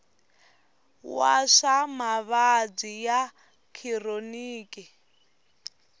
wa swa mavabyi ya khironiki